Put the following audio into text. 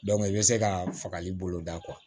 i bɛ se ka fagali boloda